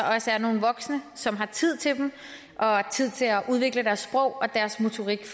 også er nogle voksne som har tid til dem og tid til at udvikle deres og deres motorik